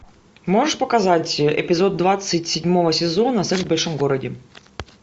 можешь показать эпизод двадцать седьмого сезона секс в большом городе